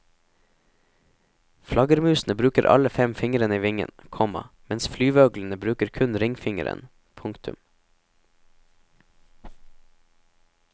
Flaggermusene bruker alle fem fingrene i vingen, komma mens flyveøglene bruker kun ringfingeren. punktum